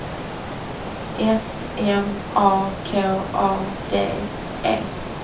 S M A K A D E